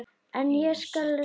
En ég skal reyna.